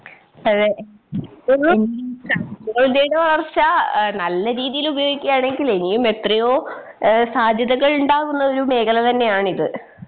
അതെ സാങ്കേതിക വളർച്ച ആഹ് നല്ല രീതിയിലുപയോഗിക്കുകയാണെങ്കിലിനിയും എത്രയോ ഏഹ് സാധ്യതകൾ ഇണ്ടാവുന്നൊരു മേഖല തന്നെയാണിത്